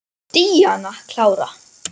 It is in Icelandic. Díana klára.